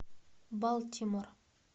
балтимор